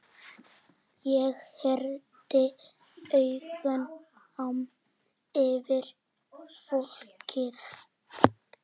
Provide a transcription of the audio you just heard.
Ég renndi augunum yfir fólkið.